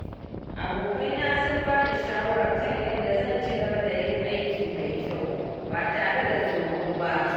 Abokaina sun ba ni shawara kan yadda zan ci gaba da yin aiki mai kyau ba tare da tsoro ba.